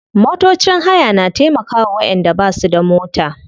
Motocin haya na taimkawa wayanda basu da mota.